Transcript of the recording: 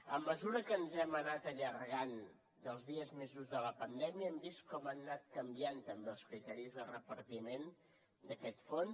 a mesura que ens hem anat allargant dels dies més durs de la pandèmia hem vist com han anat canviant també els criteris de repartiment d’aquest fons